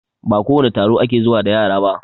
Ba kowane taro ake zuwa da yara ba